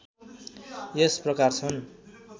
यस प्रकार छन्